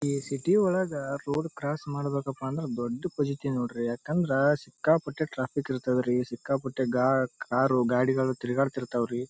ಈ ಸಿಟಿ ಒಳಗ road cross ಮಾಡ್ಬೇಕಪ್ಪ ಅಂದ್ರ ದೊಡ್ಡ ಪಜೀತಿ ನೋಡ್ರಿ ಯಾಕಂದ್ರ ಸಿಕ್ಕಾಪಟ್ಟೆ ಟ್ರ್ಯಾಫಿಕ್ ಇರ್ತಾದ್ರಿ ಸಿಕ್ಕಾಪಟ್ಟೆ ಕಾ ಕಾರು ಗಾಡಿಗಳು ತಿರ್ಗಾಡ್ತಿತ್ತಾವ್ರಿ.